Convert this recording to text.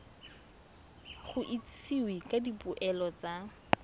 go itsisiwe ka dipoelo tsa